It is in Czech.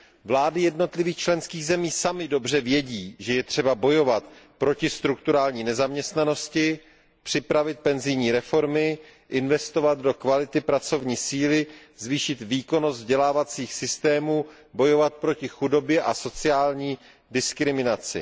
Vlády jednotlivých členských zemí samy dobře vědí, že je třeba bojovat proti strukturální nezaměstnanosti, připravit penzijní reformy, investovat do kvality pracovní síly, zvýšit výkonnost vzdělávacích systémů, bojovat proti chudobě a sociální diskriminaci.